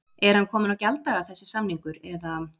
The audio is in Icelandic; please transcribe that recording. Er hann kominn á gjalddaga þessi samningur eða?